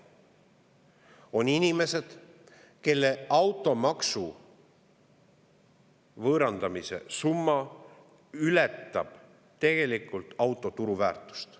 On inimesed, kelle auto võõrandamise summa ületab auto turuväärtust.